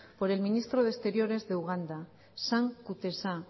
por el ministro de exteriores de uganda sam kutesa